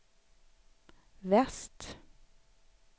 väst